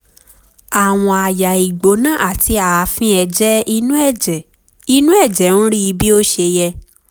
àwọ̀n àyà ìgbóná àti ààfin ẹ̀jẹ̀ inú ẹ̀jẹ̀ inú ẹ̀jẹ̀ ń rí bí ó ṣe yẹ